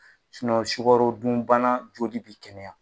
sukaro dunbana joli bɛ kɛnɛya.